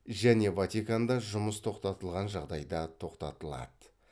және ватиканда жұмыс тоқтатылған жағдайда тоқтатылады